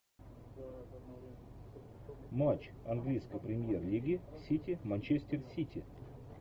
матч английской премьер лиги сити манчестер сити